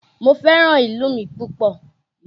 Mo fẹ́ràn ìlú mi púpọ̀